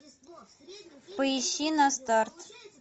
поищи на старт